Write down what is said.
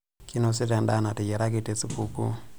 Kinosita endaa nateyiaraki tesupukuu.